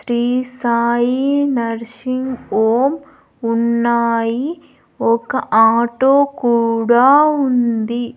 Shri Sai nursing home ఉన్నాయి ఒక auto కూడా ఉంది.